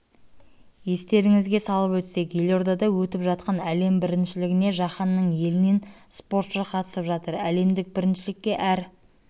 естеріңізге салып өтсек елордада өтіп жатқан әлем біріншілігіне жаһанның елінен спортшы қатысып жатыр әлемдік біріншілікке әр